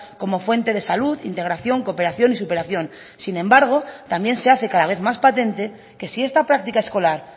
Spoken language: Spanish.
como fuente de salud integración cooperación y superación sin embargo también se hace cada vez más patente que si esta práctica escolar